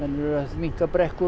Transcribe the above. minnka brekkur